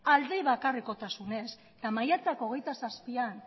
alde bakarrekotasunez eta maiatzak hogeita zazpian